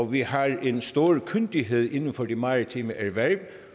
vi har en stor kyndighed inden for de maritime erhverv